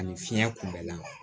Ani fiɲɛ kunbɛnlan